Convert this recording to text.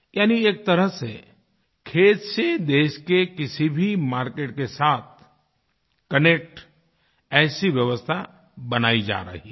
यानी एक तरह से खेत से देश के किसी भी मार्केट के साथ कनेक्ट ऐसी व्यवस्था बनाई जा रही है